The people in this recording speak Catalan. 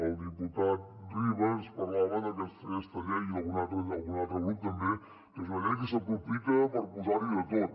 el diputat riba ens parlava del que feia aquesta llei i algun altre grup també que és una llei que s’aprofita per posar hi de tot